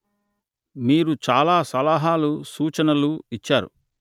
మీరు చాలా సలహాలు సూచనలు ఇచ్చారు